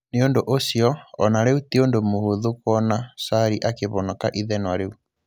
Nĩ ũndũ ũcio, o na rĩu ti ũndũ mũhũthũ kuona Sarri akĩvonoka ithenwa riu.